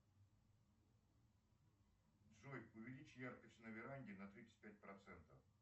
джой увеличь яркость на веранде на тридцать пять процентов